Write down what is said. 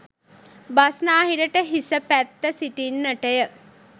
බස්නාහිරට හිස පැත්ත සිටින්නට ය.